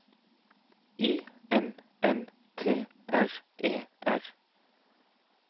I N N T R E R